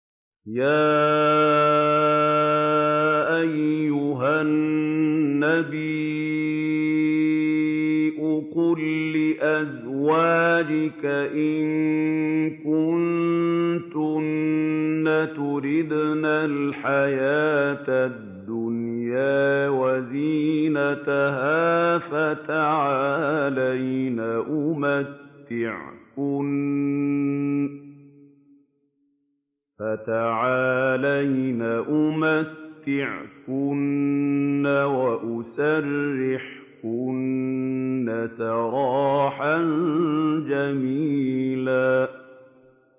يَا أَيُّهَا النَّبِيُّ قُل لِّأَزْوَاجِكَ إِن كُنتُنَّ تُرِدْنَ الْحَيَاةَ الدُّنْيَا وَزِينَتَهَا فَتَعَالَيْنَ أُمَتِّعْكُنَّ وَأُسَرِّحْكُنَّ سَرَاحًا جَمِيلًا